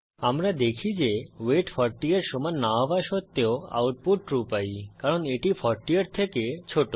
আমরা দেখি যে ওয়েট 40 এর সমান না হওয়া সত্বেও আউটপুট ট্রু পাই কারণ এটি 40 এর থেকে ছোট